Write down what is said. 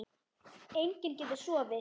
Enginn getur sofið.